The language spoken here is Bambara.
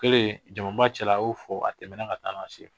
Kɛlen jamuba cɛla a y'o fɔ a tɛmɛna ka taa